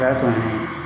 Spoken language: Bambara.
O y'a to ni